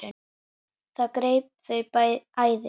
Það greip þau æði.